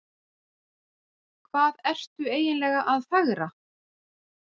Hvað ertu eiginlega að fegra?